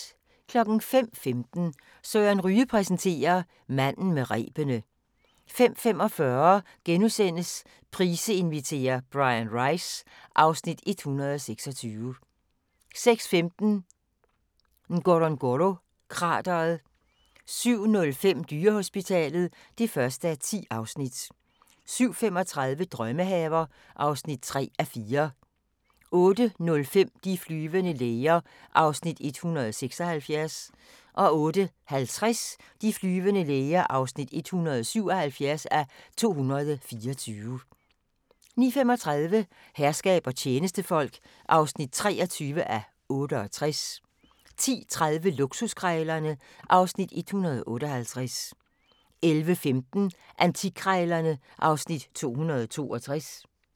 05:15: Søren Ryge præsenterer: Manden med rebene 05:45: Price inviterer - Bryan Rice (Afs. 126)* 06:15: Ngorongoro-krateret 07:05: Dyrehospitalet (1:10) 07:35: Drømmehaver (3:4) 08:05: De flyvende læger (176:224) 08:50: De flyvende læger (177:224) 09:35: Herskab og tjenestefolk (23:68) 10:30: Luksuskrejlerne (Afs. 158) 11:15: Antikkrejlerne (Afs. 262)